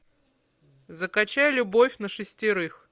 закачай любовь на шестерых